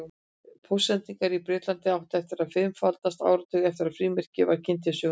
Póstsendingar í Bretlandi áttu eftir að fimmfaldast áratuginn eftir að frímerkið var kynnt til sögunnar.